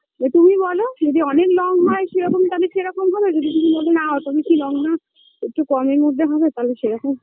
তো তুমি বলো যদি অনেক long হয় সেরকম তাহলে সেরকম হবে যদি তুমি বলো না অত বেশি long না একটু কমের মধ্যে হবে তাহলে সেরকম